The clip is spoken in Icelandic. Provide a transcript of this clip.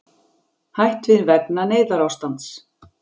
Hætt við vegna neyðarástands